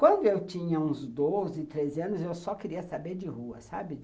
Quando eu tinha uns doze, treze anos, eu só queria saber de rua, sabe?